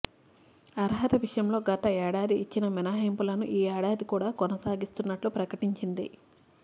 అర్హత విషయంలో గత ఏడాది ఇచ్చిన మినహాయింపులను ఈ ఏడాది కూడా కొనసాగిస్తున్నట్లు ప్రకటించింది